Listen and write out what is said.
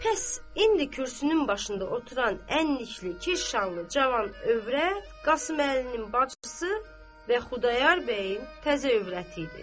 Pəs indi kürsünün başında oturan ənlikli, kirşanlı cavan övrət Qasım Əlinin bacısı və Xudayar bəyin təzə övrəti idi.